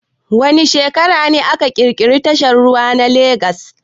Wa ne shekara ne aka kirkiri tashar ruwa na Lagas